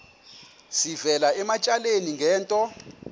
sivela ematyaleni ngento